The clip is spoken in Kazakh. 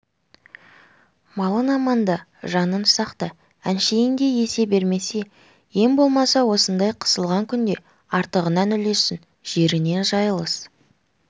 малың аманда жаның сақта әншейін-де есе бермесе ең болмаса осындай қысылған күнде артығынан үлессін жерінен жайылыс